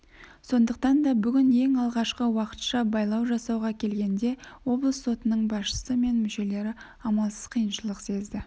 сондықтан да бүгін ең алғашқы уақытша байлау жасауға келгенде облыс сотының басшысы мен мүшелері амалсыз қиыншылық сезді